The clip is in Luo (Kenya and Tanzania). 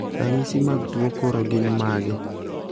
ranyisi mag tuo kor gin mage?